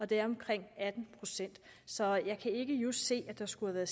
det er omkring atten procent så jeg kan ikke just se at der skulle være